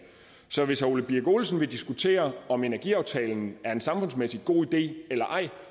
så hvis herre ole birk olesen vil diskutere om energiaftalen er en samfundsmæssig god idé eller ej